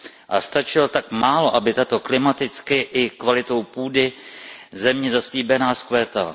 A stačilo tak málo, aby tato klimaticky i kvalitou půdy země zaslíbená vzkvétala.